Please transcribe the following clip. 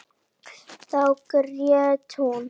Þá grét hún.